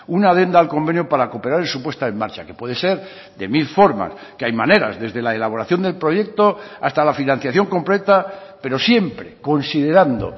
una adenda al convenio para cooperar en su puesta en marcha que puede ser de mil formas que hay maneras desde la elaboración del proyecto hasta la financiación completa pero siempre considerando